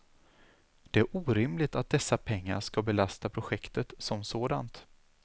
Det är orimligt att dessa pengar skall belasta projektet som sådant.